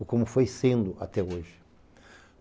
ou como foi sendo até hoje.